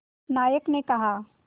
नायक ने कहा